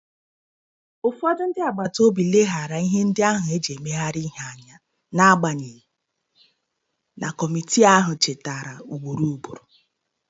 Ụfọdụ ndị agbata obi leghaara ihe ndị ahụ e ji emegharị ihe anya, n'agbanyeghị na kọmitii ahụ chetara ugboro ugboro.